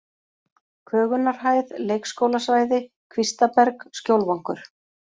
Kögunarhæð, Leikskólasvæði, Kvistaberg, Skjólvangur